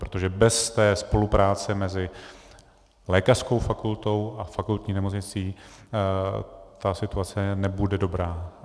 Protože bez té spolupráce mezi lékařskou fakultou a fakultní nemocnicí ta situace nebude dobrá.